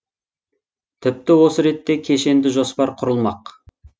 тіпті осы ретте кешенді жоспар құрылмақ